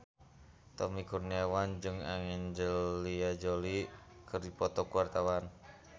Tommy Kurniawan jeung Angelina Jolie keur dipoto ku wartawan